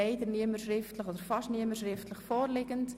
Leider hat ihn fast niemand schriftlich vorliegend.